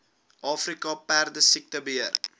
afrika perdesiekte beheer